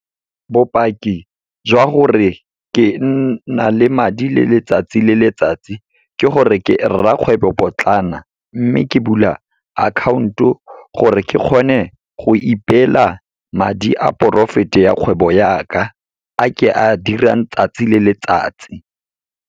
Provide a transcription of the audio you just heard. Bopaki jwa gore ke nna le madi le letsatsi le letsatsi, ke gore ke rrakgwebopotlana. Mme ke bula account-o gore ke kgone go ipeela madi a profit-e ya kgwebo ya ka, a ke a dirang tsatsi le letsatsi.